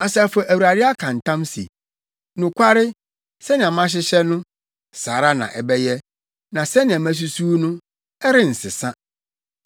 Asafo Awurade aka ntam se, “Nokware, sɛnea mahyehyɛ no, saa ara na ɛbɛyɛ, na sɛnea masusuw no, ɛrensesa.